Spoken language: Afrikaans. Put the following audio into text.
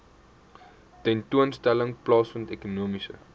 tentoonstelling plaasvind ekonomiese